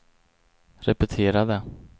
repetera det